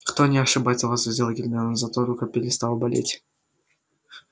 кто не ошибается возразила гермиона зато рука перестала болеть